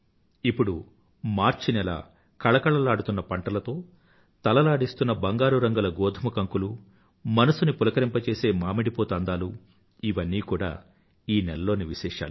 ఇప్పుడు మార్చ్ నెల కళకళలాడుతున్న పంటలతో తలలాడిస్తున్న బంగారు రంగుల గోధుమకంకులు మనసుని పులకరింపజేసే మామిడిపూత అందాలు ఇవన్నీ కూడా ఈ నెలలోని విశేషాలు